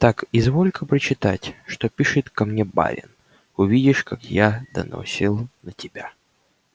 так изволь-ка прочитать что пишет ко мне барин увидишь как я доносил на тебя